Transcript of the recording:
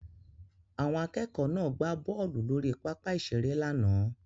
Àwọn akẹ́kọ̀ọ́ náà gbá bọ́ọ̀lù lórí pápá ìṣeré lánàá